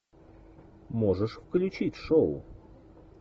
можешь включить шоу